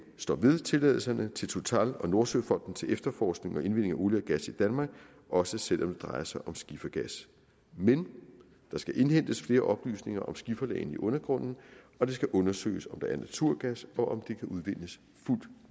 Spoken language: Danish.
står ved tilladelserne til total og nordsøfonden til efterforskning og indvinding af olie og gas i danmark også selv om det drejer sig om skifergas men der skal indhentes flere oplysninger om skiferlagene i undergrunden og det skal undersøges om der er naturgas og kan udvindes